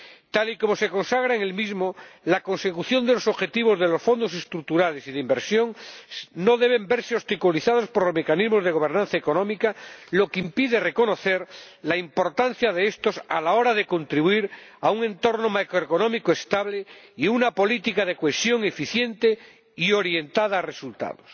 Tal y como se consagra en el mismo, la consecución de los objetivos de los Fondos Estructurales y de Inversión no debe verse obstaculizada por los mecanismos de gobernanza económica, lo que impide reconocer la importancia de estos a la hora de contribuir a un entorno macroeconómico estable y a una política de cohesión eficiente y orientada a los resultados.